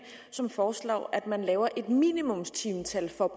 som foreslår at man laver et minimumstimetal for